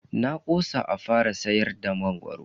Na kosa a fara siyar da mangoro.